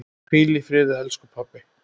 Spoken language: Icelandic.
Hvíl í friði, elsku pabbi.